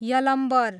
Yalambar